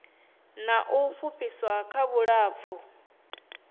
na u fhufhiswa kha vhulapfu